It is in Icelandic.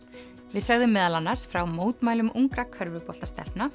við sögðum meðal annars frá ungra